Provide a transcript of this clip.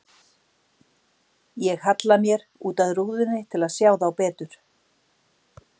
Ég halla mér út að rúðunni til að sjá þá betur.